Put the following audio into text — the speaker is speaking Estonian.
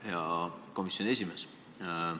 Hea komisjoni esimees!